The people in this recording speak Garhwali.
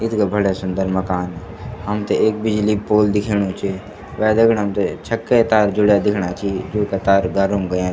इत्गा बढ़िया सुन्दर मकान हमथे एक बिजली क पोल दिख्येणु च वे दगड हमथे छक्के तार जुड्या दिख्येणा छि जूंका तार घरम गयां।